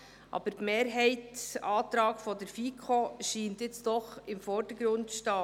Der Mehrheitsantrag der FiKo scheint nun doch im Vordergrund zu stehen.